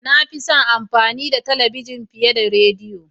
Na fi son amfani da talabijin fiye da rediyo.